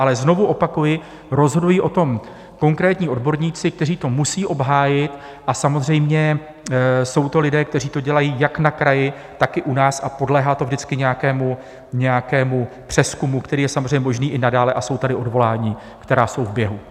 Ale znovu opakuji, rozhodují o tom konkrétní odborníci, kteří to musí obhájit, a samozřejmě jsou to lidé, kteří to dělají jak na kraji, tak i u nás, a podléhá to vždycky nějakému přezkumu, který je samozřejmě možný i nadále, a jsou tady odvolání, která jsou v běhu.